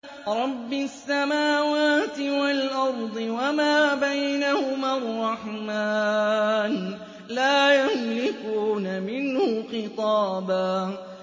رَّبِّ السَّمَاوَاتِ وَالْأَرْضِ وَمَا بَيْنَهُمَا الرَّحْمَٰنِ ۖ لَا يَمْلِكُونَ مِنْهُ خِطَابًا